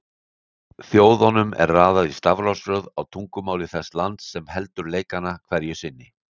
Þjóðunum er raðað í stafrófsröð á tungumáli þess lands sem heldur leikana hverju sinni.